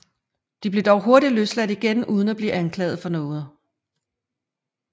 De blev dog hurtigt løsladt igen uden at blive anklaget for noget